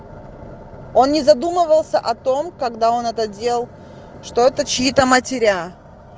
он не задумывался о том когда он это делал что это чьи-то матеря